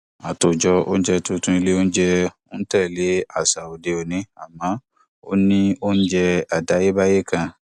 àtòjọ oúnjẹ tuntun ilé oúnjẹ ń tẹlé àṣà òde òní àmọ ó ní oúnjẹ àtayébáyé kan